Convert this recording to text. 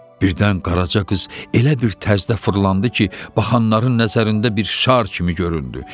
Birdən qaraca qız elə bir tərzdə fırlandı ki, baxanların nəzərində bir şar kimi göründü.